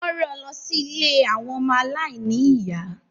Wọ́n ran lọ sí ilé àwọn ọmọ aláìní ìyá.